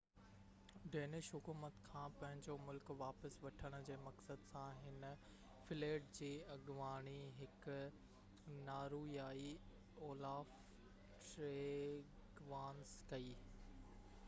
Danish حڪومت کان پنهنجو ملڪ واپس وٺڻ جي مقصد سان هن فليٽ جي اڳواڻي هڪ نارويائي اولاف ٽريگوانس ڪئي